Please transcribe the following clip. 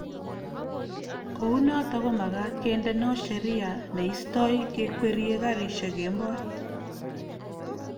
kou noto komagaat kendeno Sheria neistoi kekwerie karishek kemboi